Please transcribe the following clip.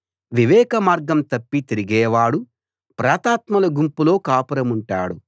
వివేకమార్గం తప్పి తిరిగేవాడు ప్రేతాత్మల గుంపులో కాపురముంటాడు